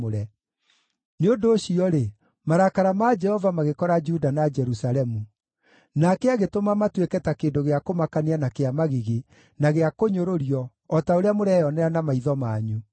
Nĩ ũndũ ũcio-rĩ, marakara ma Jehova magĩkora Juda na Jerusalemu; nake agĩtũma matuĩke ta kĩndũ gĩa kũmakania na kĩa magigi, na gĩa kũnyũrũrio, o ta ũrĩa mũreyonera na maitho manyu.